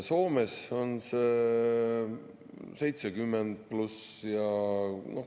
Soomes on see 70 pluss.